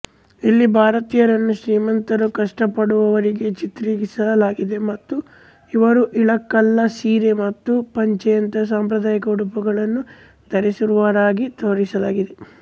ಇಲ್ಲಿ ಭಾರತೀಯರನ್ನು ಶ್ರೀಮಂತರು ಕಷ್ಟಪಡುವವರಾಗಿ ಚಿತ್ರಿಸಲಾಗಿದೆ ಮತ್ತು ಇವರು ಇಳಕಲ್ಲ ಸೀರೆ ಮತ್ತು ಪಂಚೆಯಂತಹ ಸಾಂಪ್ರದಾಯಿಕ ಉಡುಪುಗಳನ್ನು ಧರಿಸಿರುವವರಾಗಿ ತೋರಿಸಲಾಗಿದೆ